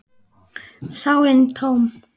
sálin tóm.